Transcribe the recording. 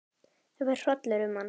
Það fer hrollur um hann.